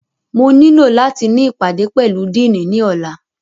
Mo nilo lati ni ipade pẹlu Dìiní ni ọla!